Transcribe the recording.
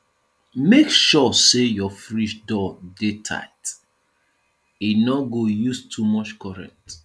make sure sey your fridge door dey tight e no go use too much current